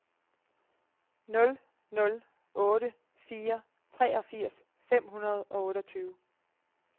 nul nul otte fire treogfirs fem hundrede og otteogtyve